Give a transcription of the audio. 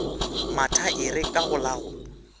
mathaere ka go la go